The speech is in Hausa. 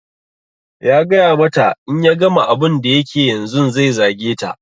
Ya gaya mata in ya gama abun da yake yanzun zai zage ta